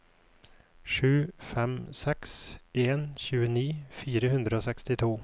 sju fem seks en tjueni fire hundre og sekstito